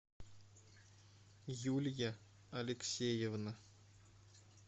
юлия алексеевна